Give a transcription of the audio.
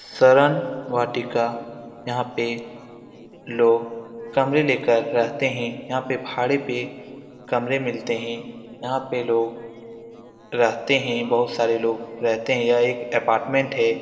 सरन वाटिका यहाँ पे लोग कमरे ले कर रहते है। यहाँ पे भाड़े पे कमरे मिलते है। यहाँ पे लोग रहते है। बहुत सारे लोग रहते है। यह एक अप्पार्टमेन्ट है।